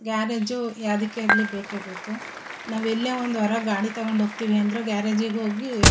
garage ಯಾವದಕ್ಕೆ ಆಗ್ಲಿ ಬೇಕೆಬೇಕು ನಾವೆಲ್ಲೆ ಒಂದು ಹೊರಗೆ ಗಾಡಿತೊಕೊಂಡಿ ಹೋಗತ್ತಿವಿ ಅಂದ್ರು ಗ್ಯಾರೇಜಿಗೋಗಿ --